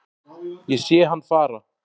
Ég sé hann fara